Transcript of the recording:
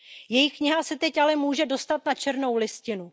Její kniha se teď ale může dostat na černou listinu.